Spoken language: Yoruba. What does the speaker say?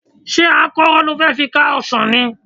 Ṣé àkọ́rọ́ ni o fẹ́ kán ọsàn ni?